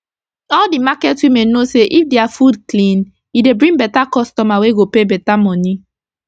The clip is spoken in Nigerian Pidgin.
all d market women know say if dia fud clean e dey bring beta customer wey go pay beta moni